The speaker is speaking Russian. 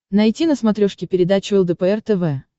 найти на смотрешке передачу лдпр тв